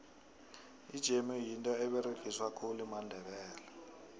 ijemu yinto eberegiswa khulu mandebele